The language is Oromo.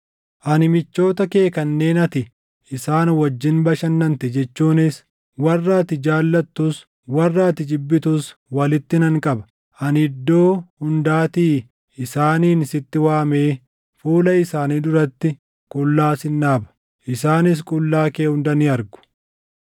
ani michoota kee kanneen ati isaan wajjin bashannante jechuunis warra ati jaallattus warra ati jibbitus walitti nan qaba. Ani iddoo hundaatii isaaniin sitti waamee fuula isaanii duratti qullaa sin dhaaba; isaanis qullaa kee hunda ni argu.